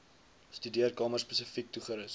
studeerkamer spesifiek toegerus